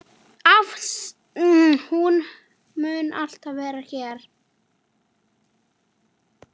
Hún mun alltaf vera hér.